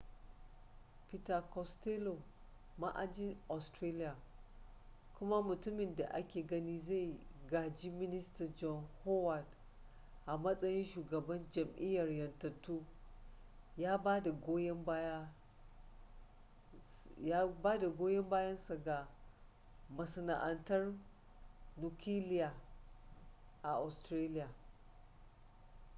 peter costello ma'ajin australia kuma mutumin da ake ganin zai gaji minista john howard a matsayin shugaban jam'iyyar 'yantattu ya bada goyan bayan sa ga masana'antar nukiliya a australia